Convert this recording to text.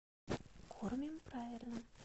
кормим правильно